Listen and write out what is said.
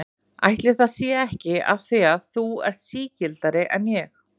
Ætli það sé ekki af því að þú ert sigldari en ég.